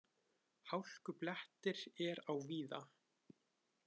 Hálkublettir er á víða